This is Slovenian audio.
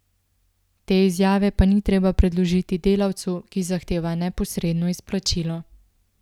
Te izjave pa ni treba predložiti delavcu, ki zahteva neposredno izplačilo.